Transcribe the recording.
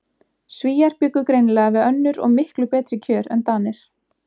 Svíar bjuggu greinilega við önnur og miklu betri kjör en Danir.